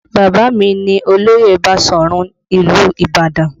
Baba mi ní olóyè Basọ̀run ìlú Ibadan